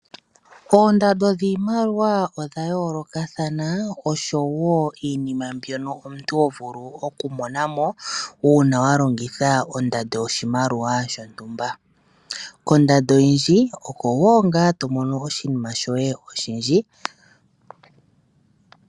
Oondando dhiimaliwa odha yoolokathana osho wo iinima mbyoka omuntu hovulu okumonamo uuna wa longitha ondando yoshimaliwa shontumba. Kondando oyindji oko ngaa wo tovulu okumona oshinima shoye oshindji.